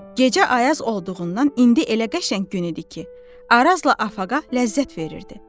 Gecə ayaz olduğundan indi elə qəşəng gün idi ki, Arazla Afaqa ləzzət verirdi.